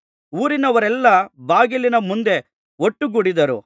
ಊರಿನವರೆಲ್ಲಾ ಬಾಗಿಲಿನ ಮುಂದೆ ಒಟ್ಟುಗೂಡಿದ್ದರು